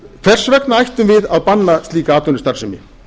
hvers vegna ættum við að banna slíka atvinnustarfsemi